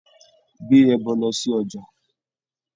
Gbé ẹbọ lọ sí ọjà.